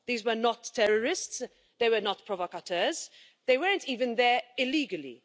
These were not terrorists, they were not provocateurs, they weren't even there illegally.